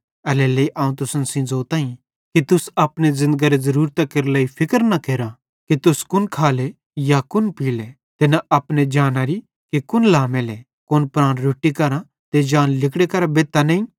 एल्हेरेलेइ अवं तुसन सेइं ज़ोताईं कि तुस अपने ज़िन्दगरी ज़रूरतां केरे लेइ फिक्र न केरा कि तुस कुन खाले या कुन पीले ते न अपने जानारी कि कुन लामेले कुन प्राण रोट्टी करां ते जान लिगड़े करां बेधतां नईं